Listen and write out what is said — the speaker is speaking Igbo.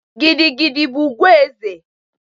Gidi gidi bụ ugwu eze